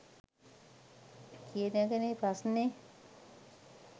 කියන එක නේ ප්‍රශ්නේ.